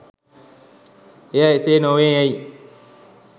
එය එසේ නොවේ යැයි